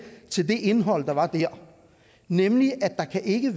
til det indhold der var dér nemlig at der ikke